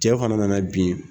Cɛ fana nana bin